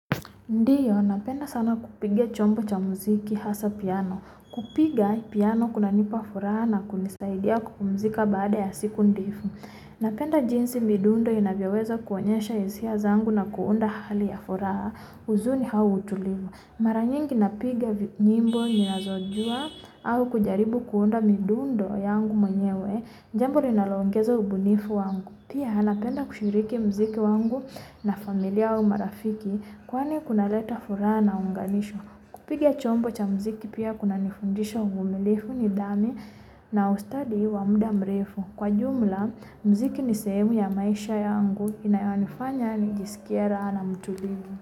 Ndiyo, napenda sana kupiga chombo cha muziki hasa piano. Kupiga piano kuna nipa furaha na kulisaidia kumuzika baade asiku ndifu. Napenda jinsi midundo inavyoweza kuanyasha hisia zangu na kuunda hali ya furaha uzuni how utulivu. Mara nyingi napiga nyimbo nizojua hau kujaribu kuunda midundo yangu munyewe. Jambo ninaloongezo ubunifu wangu. Pia hana penda kushirike muziki wangu na familia au marafiki kuwani kuna leta furaha na unganisho. Kupiga chombo cha muziki pia kuna nifundisha uvumilefu nidami na ustadii wa muda mrefu. Kwa jumla muziki ni sehemu ya maisha ya wangu, inaya wanifanya nijisikiera na mutulivu.